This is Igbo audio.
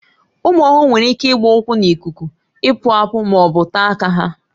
Ụmụ ọhụrụ nwere ike ịgba ụkwụ n'ikuku, ịkpụ akpụ ma ọ bụ taa aka ha